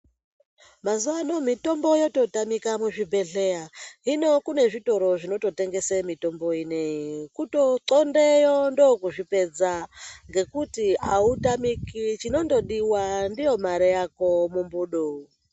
Mazuwa ano mitombo yoto tamika mu zvibhedhlera hino kune zvitoro zvinoto tengesi mitombo ineyi kuto ndxondeyo ndo kuzvi pedza ngekuti awu tamiki chinondo diwa ndiyo mare yako mu mbudo.